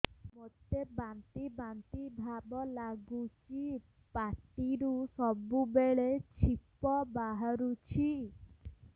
ମୋତେ ବାନ୍ତି ବାନ୍ତି ଭାବ ଲାଗୁଚି ପାଟିରୁ ସବୁ ବେଳେ ଛିପ ବାହାରୁଛି